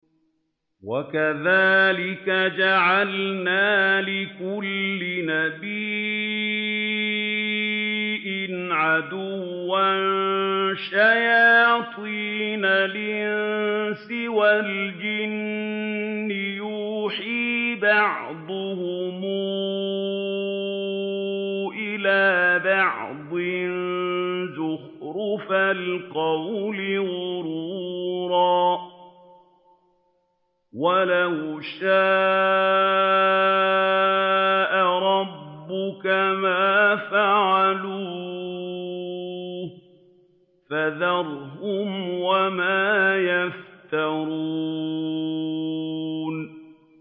وَكَذَٰلِكَ جَعَلْنَا لِكُلِّ نَبِيٍّ عَدُوًّا شَيَاطِينَ الْإِنسِ وَالْجِنِّ يُوحِي بَعْضُهُمْ إِلَىٰ بَعْضٍ زُخْرُفَ الْقَوْلِ غُرُورًا ۚ وَلَوْ شَاءَ رَبُّكَ مَا فَعَلُوهُ ۖ فَذَرْهُمْ وَمَا يَفْتَرُونَ